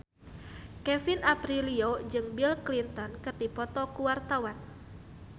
Kevin Aprilio jeung Bill Clinton keur dipoto ku wartawan